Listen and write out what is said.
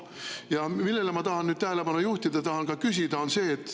Ja millele ma tahan nüüd tähelepanu juhtida ja mida ma tahan ka küsida, on see.